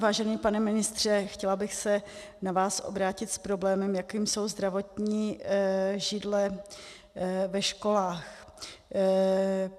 Vážený pane ministře, chtěla bych se na vás obrátit s problémem, jakým jsou zdravotní židle ve školách.